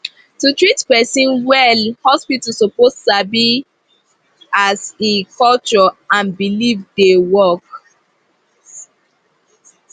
to treat person well hospital suppose sabi as e culture and belief dey work